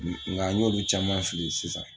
Ni nga n y'o caman fili sisan